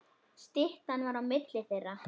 Styttan var á milli þeirra.